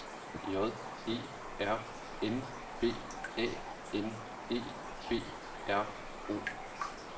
J E R N B A N E B R O